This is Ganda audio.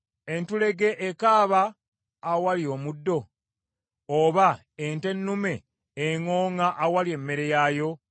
Entulege ekaaba awali omuddo, oba ente ennume eŋŋooŋŋa awali emmere yaayo?